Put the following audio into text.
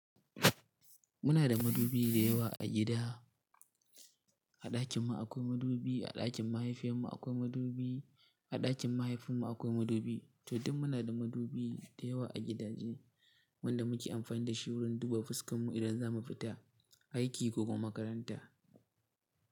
Muna da madubi dayawa a gida. A ɗakin mu akwai madubi, a ɗakin mahaifiyar mu akwai madubi, a ɗakin mahaifin mu akwai madubi. To, duk muna da madubi dayawa a gidajen mu wanda muke amfani da shi wurin duba fuskan mu idan zamu fita aiki ko kuma makaranta.